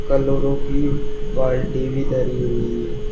Chloro कि बाल्टी भी धरी हुई है।